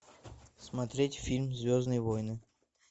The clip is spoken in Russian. смотреть фильм звездные войны